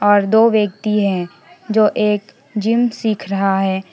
और दो व्यक्ति है जो एक जिम सीख रहा है।